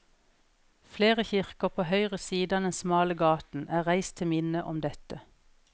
Flere kirker på høyre side av den smale gaten er reist til minne om dette.